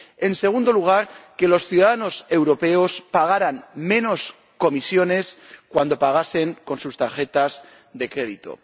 En segundo lugar, que los ciudadanos europeos pagaran menos comisiones cuando pagasen con sus tarjetas de crédito.